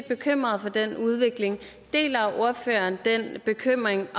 bekymret for den udvikling deler ordføreren den bekymring